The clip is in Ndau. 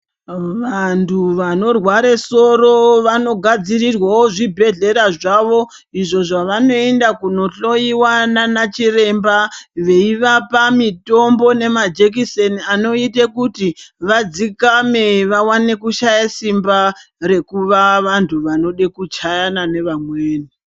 Vantu vanorware soro vanogadzirirwawo zvibhedhlera zvavo. Izvo zvavanoenda kunohloyiwa nanachiremba veivapa mitombo nemajekiseni anoite kuti vadzikame vawane kushaya simba rekuva vantu vanode kuchayana nevamweni.